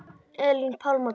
Elín Pálmadóttir